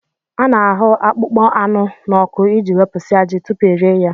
A na-ahụ akpụkpọ anụ n'ọkụ iji wepụsịa ajị tupu e rie ya